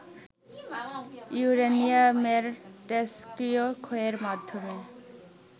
ইউরেনিয়ামের তেজষ্ক্রিয় ক্ষয়ের মাধ্যমে